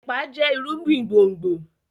epa jẹ irúgbìn gbòngbò.